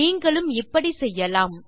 நீங்களும் இப்படி செய்யலாம்